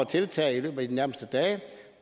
tiltag i løbet af de nærmeste dage